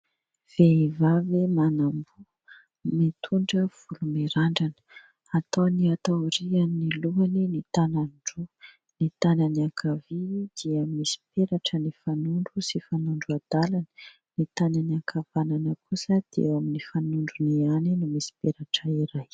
Vehivavy miamboho mitondra volo mirandrana, ataony aty aorian'ny lohany ny tanany roa. Ny tanany ankavia dia misy peratra ny fanondro sy fanondro adalany, ny tanany ankavanana kosa dia ao amin'ny fanondrony ihany no misy peratra iray.